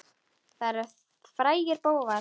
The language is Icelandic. Þetta eru frægir bófar.